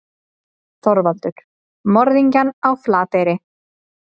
ÞORVALDUR: Morðingjann á Flateyri.